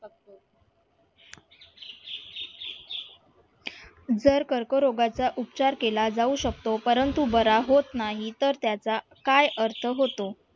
जर कर्करोगाचा उपचार केला जाऊ शकतो परंतु बरा होत नाही तर त्याचा काय अर्थ होतो?